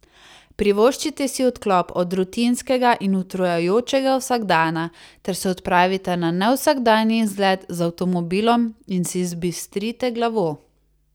Privoščite si odklop od rutinskega in utrujajočega vsakdana ter se odpravite na nevsakdanji izlet z avtomobilom in si zbistrite glavo.